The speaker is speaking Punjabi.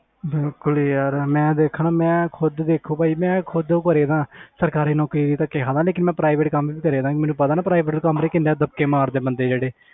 ਬਿਲਕੁਲ ਯਾਰ ਮੈਂ ਦੇਖ ਨਾ ਮੈਂ ਖੁੱਦ ਦੇਖੋ ਭਾਜੀ ਮੈਂ ਖੁੱਦ ਸਰਕਾਰੀ ਨੌਕਰੀ ਲਈ ਧੱਕੇ ਖਾਂਦਾ ਲੇਕਿੰਨ ਮੈਂ private ਕੰਮ ਵੀ ਕਰਦਾ, ਮੈਨੂੰ ਪਤਾ ਨਾ private ਕੰਮ ਲਈ ਕਿੰਨੇ ਧੱਕੇ ਮਾਰਦੇ ਆ ਬੰਦੇ ਜਿਹੜੇ